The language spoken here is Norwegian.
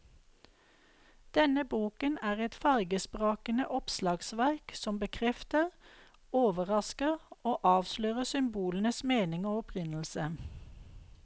Denne boken er et fargesprakende oppslagsverk som bekrefter, overrasker og avslører symbolenes mening og opprinnelse.